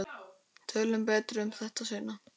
Tölum betur um þetta seinna.